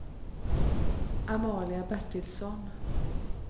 Amalia Bertilsson